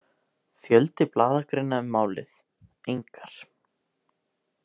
Fjöldi blaðagreina um málið: engar.